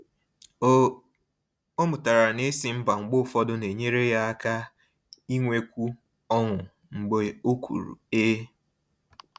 O O mụtara na ịsị ‘mba’ mgbe ụfọdụ na-enyere ya aka inwekwu ọṅụ mgbe o kwuru ‘ee’.